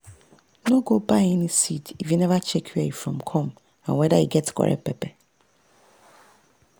no go buy any seed if you never check where e from come and whether e get correct paper.